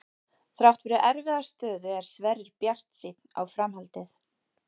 Þrátt fyrir erfiða stöðu er Sverrir bjartsýnn á framhaldið.